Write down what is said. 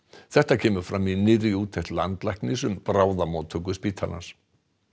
þetta kemur fram í nýrri úttekt landlæknis um bráðamóttöku spítalans